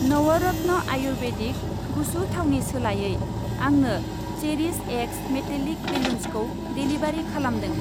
नवरत्न आयुर्वेदिक गुसु थावनि सोलायै, आंनो चेरिश एक्स मेटेलिक बेलुन्सखौ डेलिबारि खालामदों।